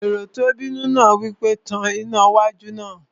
Èrò tó bínú náà wí pé, "Tan iná wájú náà!"